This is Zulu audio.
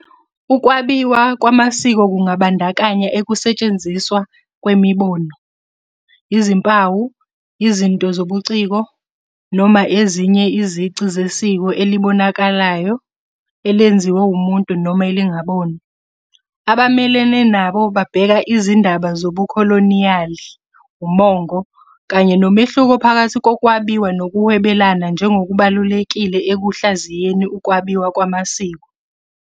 Ukwabiwa kwamasiko kungabandakanya ukusetshenziswa kwemibono, izimpawu, izinto zobuciko, noma ezinye izici zesiko elibonakalayo elenziwe umuntu noma elingabonwa. Abamelene nabo babheka izindaba zobukholoniyali, umongo, kanye nomehluko phakathi kokwabiwa nokuhwebelana njengokubalulekile ekuhlaziyeni ukwabiwa kwamasiko.